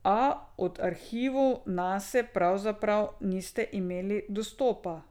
A do arhivov Nase pavzaprav niste imeli dostopa.